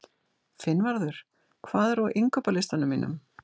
Finnvarður, hvað er á innkaupalistanum mínum?